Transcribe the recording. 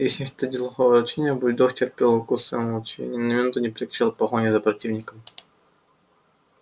если не считать глухого рычания бульдог терпел укусы молча и ни на минуту не прекращал погони за противником